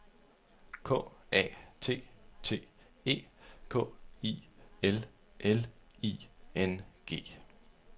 K A T T E K I L L I N G